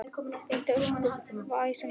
Það hringlaði ósköp vesældarlega í honum.